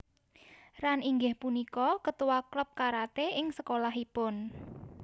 Ran inggih punika ketua klub karate ing sekolahipun